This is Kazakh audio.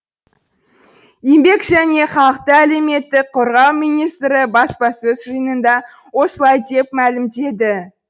еңбек және халықты әлеуметтік қорғау министрі баспасөз жиынында осылай деп мәлімдеді